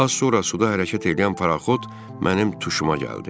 Az sonra suda hərəkət eləyən paraxot mənim tuşuma gəldi.